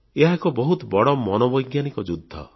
ଏହା ଏକ ବହୁତ ବଡ଼ ମନୋବୈଜ୍ଞାନିକ ଯୁଦ୍ଧ